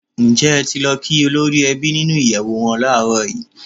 Ǹjẹ́ ẹ ti lọ kí olórí ẹbí nínú ìyẹ̀wù wọn láàrọ̀ yìí?